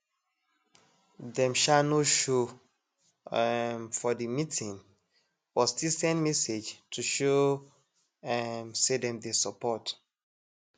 dem um no show um for the meeting but still send message to show um say dem dey support